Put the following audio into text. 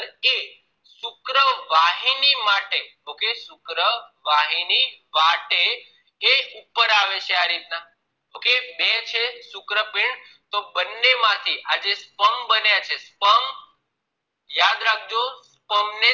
શુક્રવાહિની વાટેએ ઉપર આવે છે આ રીત ના okay બે છે શક્રપીંડ બને માંથી આ જે sperm બને છે sperm ને યાદ રાખો sperm